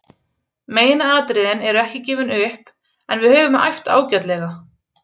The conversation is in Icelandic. Megin atriðin eru ekki gefin upp en við höfum æft ágætlega.